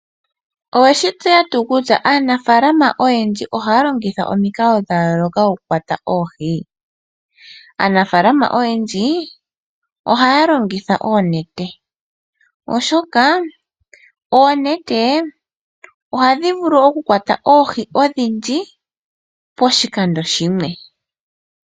Oweshi tseya tuu kutya aanafalama oyendji ohaya longitha omikalo dha yooloka oku kwata oohi? Aanafalama oyendji ohaya longitha oonete, oshoka oonete ohadhi vulu oku kwata oohi odhindji poshikando shimwe .